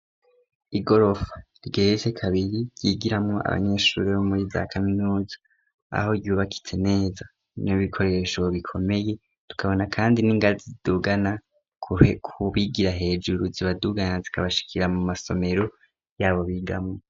Igorofa igeretse kabiri ryigiramo abanyeshuri bo muri za kaminuza aho ryubakitse neza n'ibikoresho bikomeye. Tukabona kandi n'ingazi zidugana ku bigira hejuru zibadugana zikabashikira mu masomero y'abo bigamo.